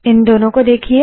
इन दोनों को देखिए